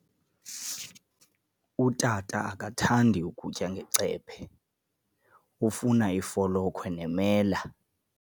Utata akathandi kutya ngecephe, ufuna ifolokhwe nemela.